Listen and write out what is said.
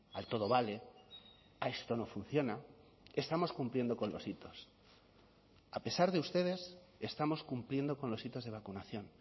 al todo vale a esto no funciona estamos cumpliendo con los hitos a pesar de ustedes estamos cumpliendo con los hitos de vacunación